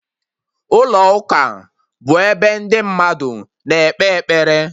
Ụlọ ụka bụ ebe ndị mmadụ na-ekpe ekpere